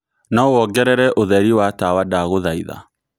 no wongerere utherĩ wa tawa ndagũhaĩtha